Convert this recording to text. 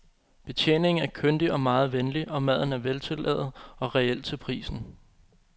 Betjeningen er kyndig og meget venlig, og maden er veltillavet og reel til prisen.